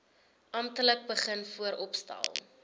amptelik begin vooropstel